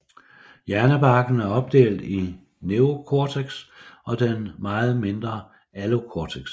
Hjernebarken er opdelt i neocortex og den meget mindre allocortex